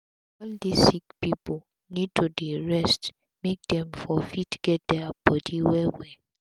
all dis sick pipu need to dey rest make dem for fit get dia bodi well well